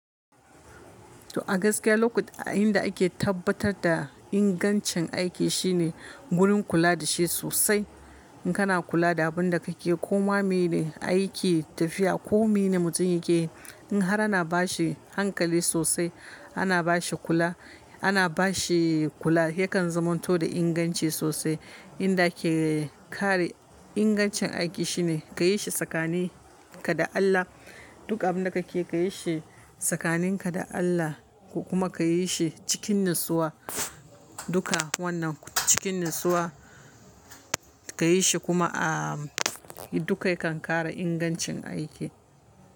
To a gaskiya lokut inda ake tabbatar da ingancin aiki shine gurin kula da shi sosai. In kana kula da abin da kake koma mai ne aiki tafiya ko mi ne mutum yake, in har ana bashi hankali sosai, ana bashi kula, ana bashi kula yakan zamanto da inganci sosai. Inda ake kare ingancin aiki shine ka yi shi tsakanin ka da Allah. Duk abin da kake ka yi shi tsakaninka da Allah kuma ka yi shi cikin natsuwa. Duka wannan cikin natsuwa ka yi shi kuma a duka yakan kara ingancin aiki.